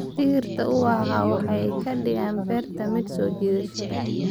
Dhirta ubaxa waxay ka dhigaan beerta mid soo jiidasho leh.